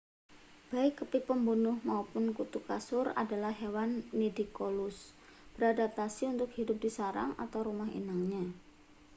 baik kepik pembunuh mapun kutu kasur adalah hewan nidicolous beradaptasi untuk hidup di sarang atau rumah inangnya